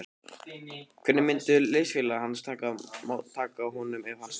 Hvernig myndu liðsfélagar hans taka honum ef hann sneri aftur?